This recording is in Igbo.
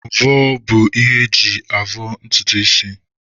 Mvọ bụ ihe eji avọ ntutu isi